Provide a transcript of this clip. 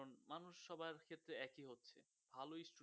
মানুষ সবার ক্ষেত্রে একই হচ্ছে ভালোই